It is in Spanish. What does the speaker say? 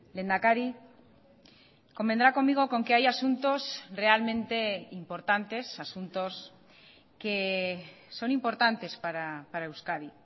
lehendakari convendrá conmigo con que hay asuntos realmente importantes asuntos que son importantes para euskadi